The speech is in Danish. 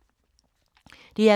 DR K